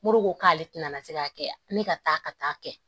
Mori ko k'ale tɛna se k'a kɛ ne ka taa ka taa kɛ